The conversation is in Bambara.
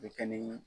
Bɛ kɛ ni